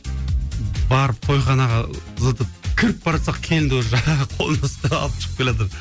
барып тойханаға зытып кіріп бара жатсақ келінді уже қолынан ұстап алып шығып келе жатыр